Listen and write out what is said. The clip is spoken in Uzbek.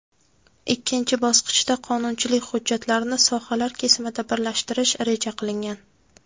ikkinchi bosqichda qonunchilik hujjatlarini sohalar kesimida birlashtirish reja qilingan.